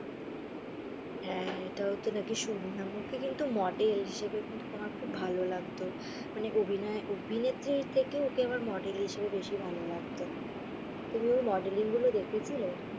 হ্যা এটা ও তো নাকি শুনলাম, ও তো কিন্তু মডেল হিসেবে কিন্তু আমার খুব ভালো লাগতো মানে অভিনয় অভিনেত্রীর থেকে ওকে আমার মডেল হিসেবে বেশি ভালো লাগতো। তুমি অর মডেলিং গুলো দেখেছিলে?